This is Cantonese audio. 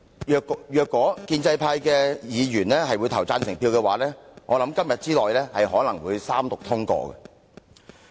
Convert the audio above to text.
如果建制派議員表決贊成，我相信《條例草案》今天之內可能會三讀通過。